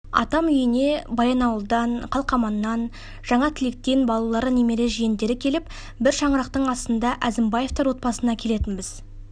атам үйіне баянауылдан қалқаманнан жаңатілектен балалары немере жиендері келіп бір шаңырақтың астында әзімбаевтар отбасына келетінбіз